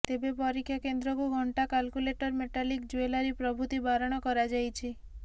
ତେବେ ପରୀକ୍ଷା କେନ୍ଦ୍ରକୁ ଘଣ୍ଟା କାଲ୍କୁଲେଟର୍ ମେଟାଲିକ୍ ଜୁଏଲାରୀ ପ୍ରଭୃତି ବାରଣ କରାଯାଇଛି